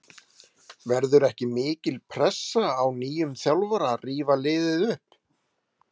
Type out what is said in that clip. Verður ekki mikil pressa á nýjum þjálfara að rífa liðið upp?